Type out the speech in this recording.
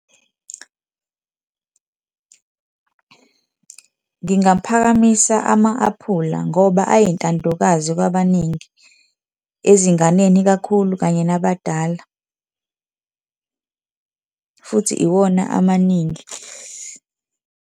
Ngingaphakamisa ama-aphula ngoba ayintandokazi kwabaningi, ezinganeni ikakhulu kanye nabadala futhi iwona amaningi.